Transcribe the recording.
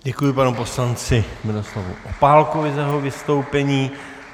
Děkuji panu poslanci Miroslavu Opálkovi za jeho vystoupení.